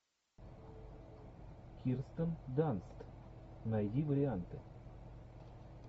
кирстен данст найди варианты